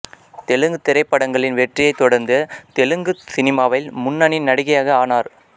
தெலுங்குத் திரைப்படங்களின் வெற்றியைத் தொடர்ந்து தெலுங்கு சினிமாவில் முன்னணி நடிகையாக ஆனார்